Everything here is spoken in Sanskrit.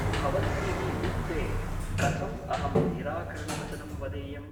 भवद्भिः उक्ते , कथम् अहं निरा करणवचनं वदेयम् ?